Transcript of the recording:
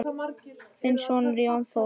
Þinn sonur, Jón Þór.